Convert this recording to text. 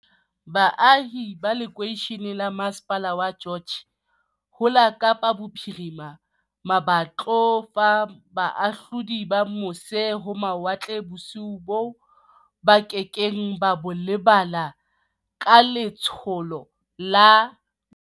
Baahi ba lekeishene la masepala wa George ho la Kapa Bophiri ma ba tlo fa bahahlaudi ba mose-ho-mawatle bosiu boo ba ke keng ba bo lebala ka le tsholo la